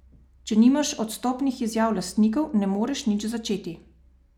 Če nimaš odstopnih izjav lastnikov, ne moreš niti začeti.